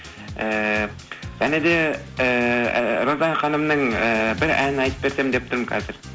ііі және де ііі роза ханымның ііі бір әнін айтып берсем деп тұрмын қазір